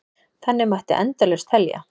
Þannig mætti endalaust telja.